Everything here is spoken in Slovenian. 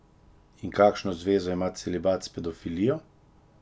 In kakšno zvezo ima celibat s pedofilijo?